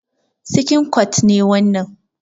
Sikin kwat ne wannan.